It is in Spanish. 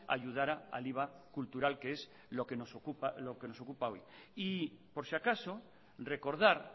ayudara al iva cultural que es lo que nos ocupa hoy y por si acaso recordar